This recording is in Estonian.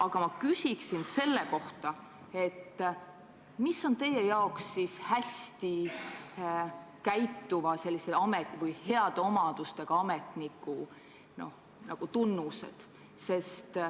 Aga ma küsin selle kohta, mis on teie arvates hästi käituva või heade omadustega ametniku tunnused.